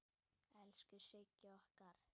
Elsku Sigga okkar.